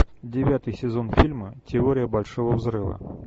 девятый сезон фильма теория большого взрыва